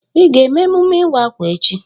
Ị ga eme emume ịwa akwa echi?